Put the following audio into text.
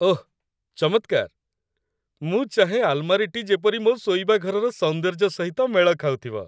ଓଃ ଚମତ୍କାର ! ମୁଁ ଚାହେଁ ଆଲମାରୀଟି ଯେପରି ମୋ ଶୋଇବା ଘରର ସୌନ୍ଦର୍ଯ୍ୟ ସହିତ ମେଳ ଖାଉଥିବ।